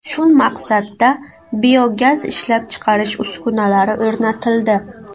Shu maqsadda biogaz ishlab chiqarish uskunalari o‘rnatildi.